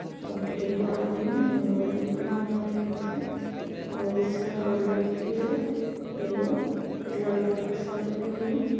और एक आदमी रंगोली बना रहा है नीचे बहोत सारा लड़की है एगो उजला कलर के साड़ी पहने है।